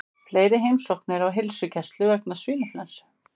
Fleiri heimsóknir á heilsugæslu vegna svínaflensu